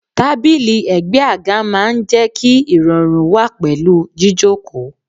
Tábìlì ègbé àga máa ń jẹ́ kí irọrun wà pẹ̀lú jíjókòó.